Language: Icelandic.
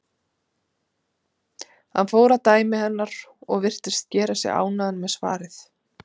Hann fór að dæmi hennar og virtist gera sig ánægðan með svarið.